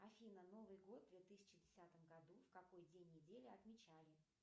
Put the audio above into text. афина новый год в две тысячи десятом году в какой день недели отмечали